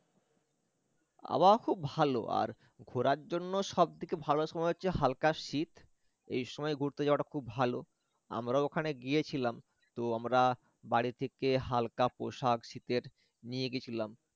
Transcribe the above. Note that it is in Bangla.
আবহাওয়া খুব ভাল আর ঘোরার জন্য সব থেকে ভাল সময় হচ্ছে হালকা শীত এই সময় ঘুরতে যাওয়াটা খুব ভাল আমরা ওখানে গিয়েছিলাম তো আমরা বাড়ি থেকে হালকা পোশাক শীতের নিয়ে গেছিলাম